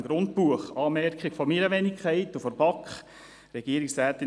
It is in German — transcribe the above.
Hierzu eine Anmerkung von meiner Wenigkeit und vonseiten der BaK: